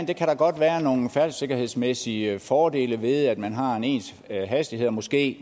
kan da godt være nogle færdselssikkerhedsmæssige fordele ved at man har en ens hastighed og måske